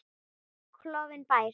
Klofinn bær.